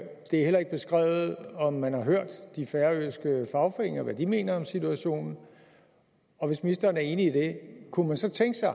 er heller ikke beskrevet om man har hørt de færøske fagforeninger om hvad de mener om situationen og hvis ministeren er enig i det kunne man så tænke sig